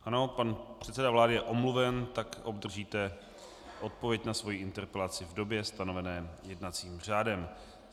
Ano, pan předseda vlády je omluven, tak obdržíte odpověď na svoji interpelaci v době stanovené jednacím řádem.